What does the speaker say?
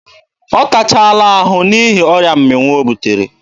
Ọ tachaala ahụ n'ihi ọrịa mmịnwụ o butere.